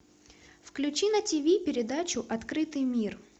включи на тиви передачу открытый мир